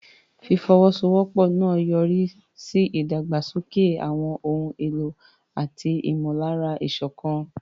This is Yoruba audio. Ìfọwọ́sowọ́pọ̀ náà yọrí sí ìdàgbàsókè àwọn ohun èlò àti ìmọ̀lára ìṣọ̀kan.